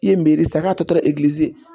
I ye san k'a tɔ